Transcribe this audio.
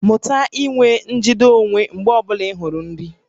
Mụta inwe njide onwe onye mgbe ọ bụla ị hụrụ nri